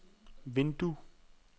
vindue